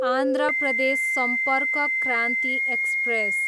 Andhra Pradesh Sampark Kranti express